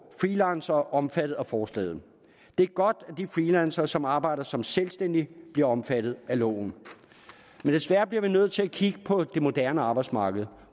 freelancere omfattet af forslaget det er godt at de freelancere som arbejder som selvstændige bliver omfattet af loven men desværre bliver vi nødt til at kigge på det moderne arbejdsmarked